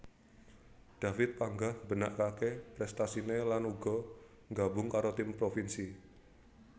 David panggah mbenakaké prestasiné lan uga nggabung karo tim provinsi